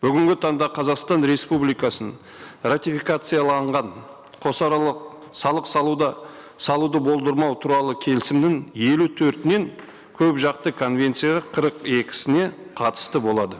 бүгінгі таңда қазақстан республикасының ратификацияланған қосаралық салық салуды салуды болдырмау туралы келісімнің елу төртінен көпжақты конвенцияға қырық екісіне қатысты болады